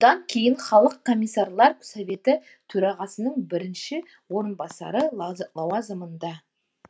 одан кейін халық комиссарлар советі төрағасының бірінші орынбасары лауазымында